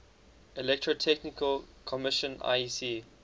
electrotechnical commission iec